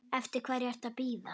Eftir hverju ertu að bíða!